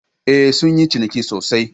Eh, sun yi ciniki sosai